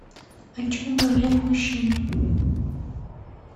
о чем говорят мужчины